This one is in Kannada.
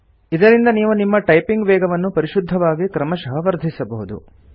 ಇದರಿಂದ ನೀವು ನಿಮ್ಮ ಟೈಪಿಂಗ್ ವೇಗವನ್ನು ಪರಿಶುದ್ಧವಾಗಿ ಕ್ರಮಶಃ ವರ್ಧಿಸಬಹುದು